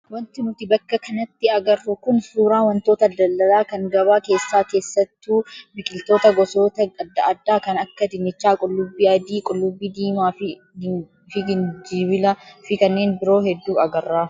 Wanti nuti bakka kanatti agarru kun suuraa wantoota daldalaa kan gabaa keessaa keessattuu biqiloota gosoota adda addaa kan akka dinnichaa, qullubbii adii, qullubbii diimaa fi gijinbilaa fi kanneen biroo hedduu agarra.